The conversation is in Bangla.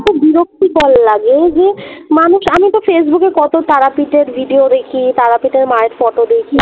বিরক্তিকর লাগে এই যে মানুষ আমি তো ফেইসবুক এ কত তারাপীঠের video দেখি তারাপীঠের মায়ের photo দেখি